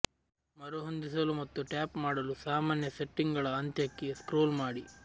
ಮರುಹೊಂದಿಸಲು ಮತ್ತು ಟ್ಯಾಪ್ ಮಾಡಲು ಸಾಮಾನ್ಯ ಸೆಟ್ಟಿಂಗ್ಗಳ ಅಂತ್ಯಕ್ಕೆ ಸ್ಕ್ರೋಲ್ ಮಾಡಿ